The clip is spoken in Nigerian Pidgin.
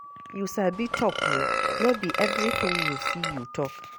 You sabi talk oo, no be everything you see you talk